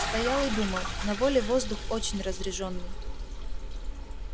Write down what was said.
стоял и думал на воле воздух очень разрежённый